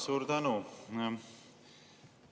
Suur tänu!